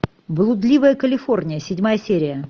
блудливая калифорния седьмая серия